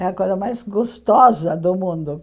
É a coisa mais gostosa do mundo.